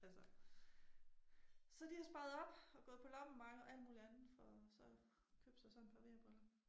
Altså så de har sparet op og gået på loppemarked og alt muligt andet for så købe sig sådan et par VR briller